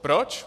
Proč?